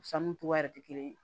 Sanu cogoya yɛrɛ tɛ kelen ye